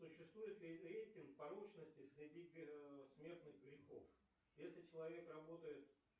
существует ли рейтинг порочности среди смертных грехов если человек работает